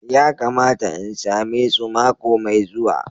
Ya kamata in same su mako mai zuwa.